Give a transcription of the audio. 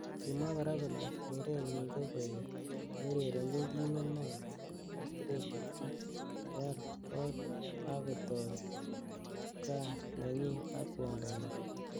Kimwa kora kole keren nyi ko koek neuererenjin timit neo nebo Austrelia ak koal kot ak kotoi kaa nenyi ak kwondo nyi.